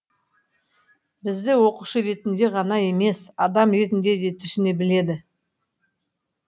бізді оқушы ретінде ғана емес адам ретінде де түсіне біледі